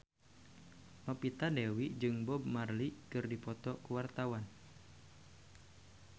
Novita Dewi jeung Bob Marley keur dipoto ku wartawan